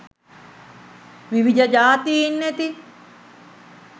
විවිධ ජාතීන් ඇති